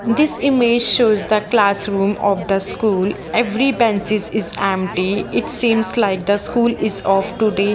this image shows the classroom of the school every benches is empty it seems like the school is off today.